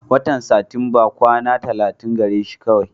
Watan Satinba kwana tallatin gare shi kawai.